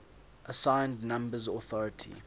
assigned numbers authority